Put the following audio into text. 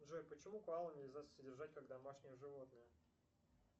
джой почему коалу нельзя содержать как домашнее животное